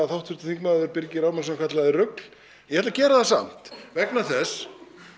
háttvirtur þingmaður Birgir Ármannsson kallaði rugl ég ætla að gera það samt vegna þess